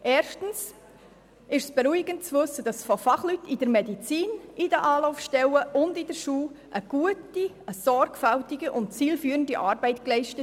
Erstens ist es beruhigend zu wissen, dass die Fachleute in den medizinischen Praxen, in den Anlaufstellen und in den Schulen gute, sorgfältige und zielführende Arbeit leisten.